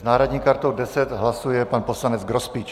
S náhradní kartou 10 hlasuje pan poslanec Grospič.